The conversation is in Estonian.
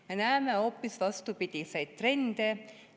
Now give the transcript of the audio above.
Me näeme hoopis vastupidiseid trende.